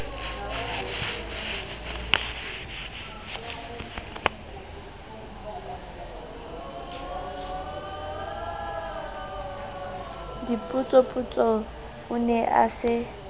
dipotsopotso o ne a se